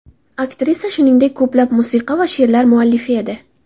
Aktrisa, shuningdek, ko‘plab musiqa va she’rlar muallifi edi.